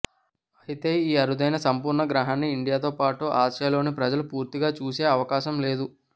అయితే ఈ అరుదైన సంపూర్ణ గ్రహణాన్ని ఇండియాతోపాటు ఆసియాలోని ప్రజలు పూర్తిగా చూసే అవకాశం లేదు